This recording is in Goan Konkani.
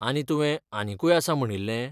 आनी तुवें आनीकूय आसा म्हणिल्ले?